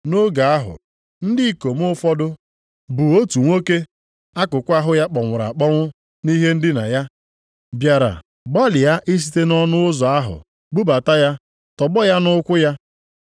Nʼoge ahụ ndị ikom ụfọdụ bu otu nwoke akụkụ ahụ ya kpọnwụrụ akpọnwụ nʼihe ndina ya, bịara gbalịa isite nʼọnụ ụzọ ụlọ ahụ bubata ya tọgbọ ya nʼụkwụ ya.